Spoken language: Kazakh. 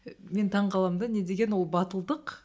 мен таңғаламын да не деген ол батылдық